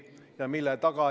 Seal on häid ettepanekuid.